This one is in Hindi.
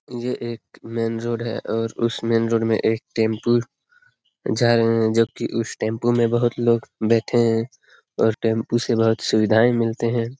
यह एक मेन रोड है और उस मेन रोड में एक टेम्पू जा रहे हैं जो कि उस टेम्पू में बहुत लोग बैठे हैं और टेम्पू से बहुत सुविधाएँ मिलते हैं ।